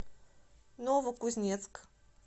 новокузнецк